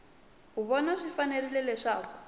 u vona swi fanerile leswaku